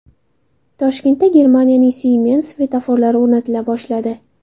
Toshkentda Germaniyaning Siemens svetoforlari o‘rnatila boshladi.